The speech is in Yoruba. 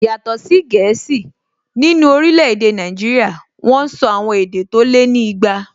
Yàtọ̀ sí èdè gẹ̀ẹ́sì, nínú orílẹ̀-èdè Nàìjíríyà wọ́n sọ àwọn èdè tó lé ní igba